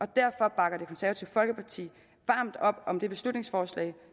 derfor bakker det konservative folkeparti varmt op om det beslutningsforslag